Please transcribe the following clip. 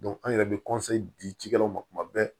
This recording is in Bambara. an yɛrɛ bɛ di ci ci kɛlaw ma kuma bɛɛ